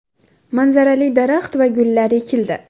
Manzarali daraxt va gullar ekildi.